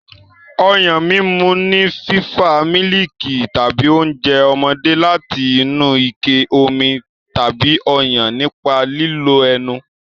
Ọyàn mímu ni fífa mílìkì tàbí oúnjẹ ọmọdé láti inú ike omi tàbí Ọyàn nípa lílo ẹnu.